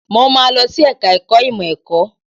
Mo máa lọ sí ẹ̀ka ẹ̀kọ́ ìmọ̀ ẹ̀kọ́.